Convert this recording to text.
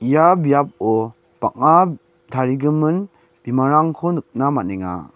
ia biapo bang·a tarigimin bimangrangko nikna man·enga.